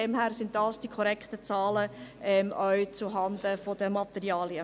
Das sind die korrekten Zahlen, dies auch zuhanden der Materialien.